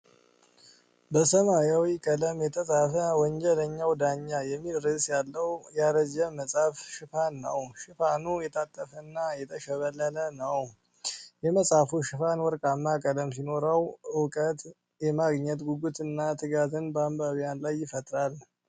በሰማያዊ ቀለም የተጻፈ “ወንጀለኛው ዳኛ” የሚል ርዕስ ያለውን ያረጀ መጽሐፍ ሽፋን ነው። ሽፋኑ የታጠፈና የተሸበሸበ ነው። የመጽሃፉ ሽፋን ወርቃማ ቀለም ሲኖረው፣ እውቀት የማግኘት ጉጉትና ትጋት በአንባቢያን ላይ ይፈጥራል።